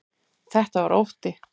Þetta var ótti.